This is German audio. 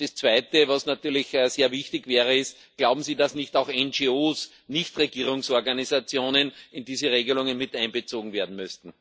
Das Zweite, was natürlich sehr wichtig wäre, ist Glauben Sie nicht, dass auch NGOs Nichtregierungsorganisationen in diese Regelungen miteinbezogen werden müssten?